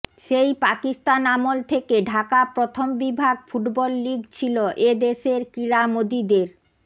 সেই পাকিস্তান আমল থেকে ঢাকা প্রথম বিভাগ ফুটবল লীগ ছিল এ দেশের ক্রীড়ামোদীদের